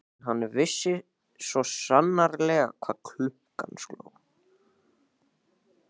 En hann vissi svo sannarlega hvað klukkan sló.